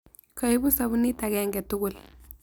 Kaibu sabunit agenge tugul.